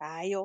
hayo.